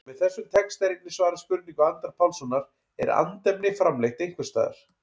Með þessum texta er einnig svarað spurningu Andra Pálssonar, Er andefni framleitt einhvers staðar?